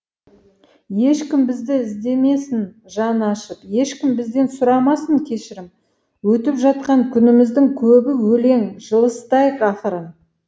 ешкім бізді іздемесін жаны ашып ешкім бізден сұрамасын кешірім өтіп жатқан күніміздің көбі өлең жылыстайық ақырын